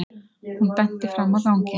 Hún benti fram á ganginn.